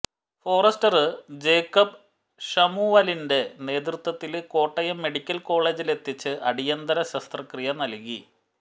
Forester Jacob ശമുവലിന്റെ നേതൃത്വത്തില് Kottayam medical കോളേജിലെത്തിച്ച് അടിയന്തരശസ്ത്രക്രിയ നല്കി